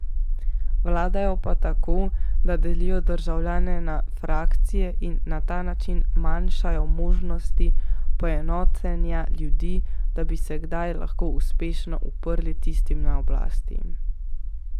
Vladajo pa tako, da delijo državljane na frakcije in na ta način manjšajo možnost poenotenja ljudi, da bi se kdaj lahko uspešno uprli tistim na oblasti.